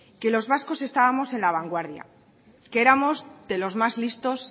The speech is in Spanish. que los vascos estamos en la vanguardia que éramos de los más listos